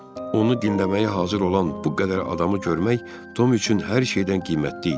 Onu dinləməyə hazır olan bu qədər adamı görmək Tom üçün hər şeydən qiymətli idi.